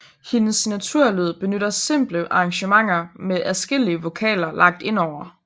Hendes signaturlyd benytter simple arrangementer med adskillige vokaler lagt ind over